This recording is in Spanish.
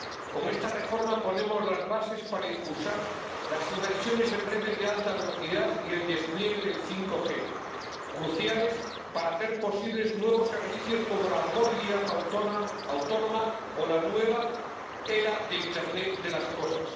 Con esta reforma ponemos las bases para impulsar las inversiones en redes de alta velocidad y el despliegue del 5G, cruciales para hacer posibles nuevos servicios como la movilidad autónoma o la nueva era deL internet de las cosas.